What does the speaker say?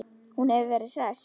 Hún hefur verið hress?